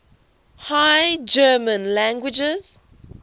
high german languages